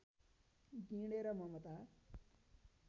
गिँडेर Mamata